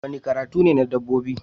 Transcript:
Wani karatu ne na dabbobi